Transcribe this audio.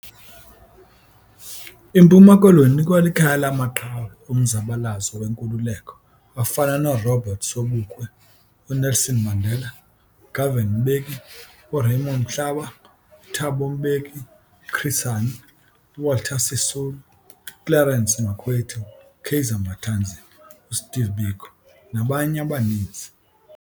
IMpuma Koloni ikwalikhaya lamaqhawe omzabalazo wenkululeko afana noRobert Sobukwe, uNelson Mandela, uGovan Mbeki, uRaymond Mhlaba, uThabo Mbeki, uChris Hani, uWalter Sisulu, uClerence Makwethu, uKaiser Matanzima, uSteve Biko nabanye abaninzi.